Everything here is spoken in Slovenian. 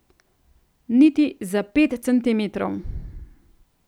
Niti za pet centimetrov.